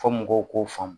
Fɔ mɔgɔw k'o faamu